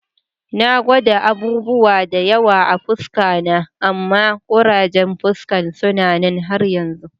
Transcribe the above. Na gwada abubuwa da yawa a'fuska na amma kurajen fuskan suna nan har yanzu.